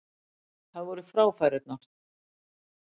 Það voru fráfærurnar.